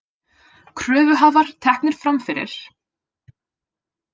Kröfuhafar teknir fram fyrir